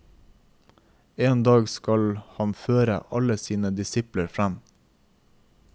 En dag skal han føre alle sine disipler frem.